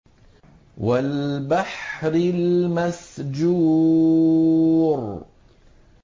وَالْبَحْرِ الْمَسْجُورِ